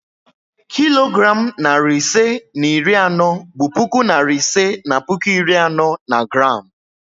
Kilogram narị ise na iri anọ bụ puku narị ise na puku iri anọ na gram